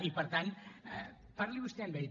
i per tant parli vostè amb ell